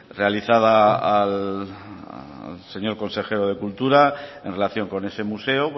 realizada al señor consejero de cultura en relación con ese museo